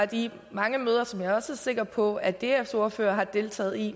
de mange møder som jeg også er sikker på at dfs ordfører har deltaget i